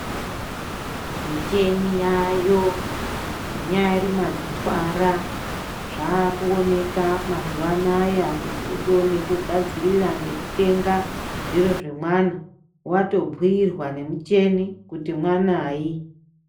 Micheni yaayo munyari madzitwara, zvaakuoneka mazuwa anaya kuti utoone kugadzirira ngekutenga ,zviro zvemwana, watobhuirwa nemucheni ,kuti mwanayi.